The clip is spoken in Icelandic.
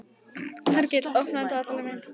Hergill, opnaðu dagatalið mitt.